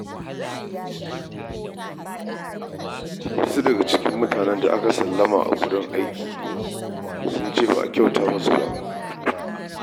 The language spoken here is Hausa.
Wasu daga cikin mutanen da aka sallama daga aiki sun ce ba a kyauta musu ba.